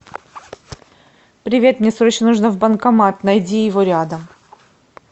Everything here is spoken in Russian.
привет мне срочно нужно в банкомат найди его рядом